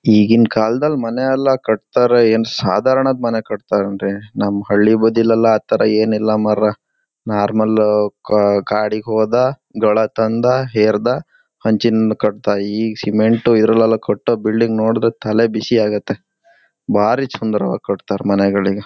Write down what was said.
ಈಗಿನ್ ಕಾಲ್ದಲ್ ಮನೆಯಲ್ಲ ಕಟ್ತಾರೆ ಏನ್ ಸಾಧಾರಣದ ಮನೆ ಕಟ್ತರ್ ಏನ್ರಿ ನಮ್ ಹಳ್ಳಿ ಬದಿಲೆಲ್ಲ ಅಥರ ಏನಿಲ್ಲ ಮಾರ್ರಾ ನಾರ್ಮಲ್ ಕಾ ಕಾಡಿಗೆ ಹೋದ ಗಳತ್ತಂದ ಹೇರ್ದ ಹಂಚಿನ್ ಮನೆ ಕಟ್ದ ಈ ಸಿಮೆಂಟ್ ಈದರಲ್ಲೆಲ್ಲ ಕಟ್ಟೋ ಬಿಲ್ಡಿಂಗ್ ನೋಡಿದ್ರೆ ತಲೆ ಬಿಸಿ ಆಗುತ್ತೆ ಬಾರಿ ಚಂದ್ರವಾಗಿ ಕಟ್ತಾರೆ ಮನೆಗಳಿಗ.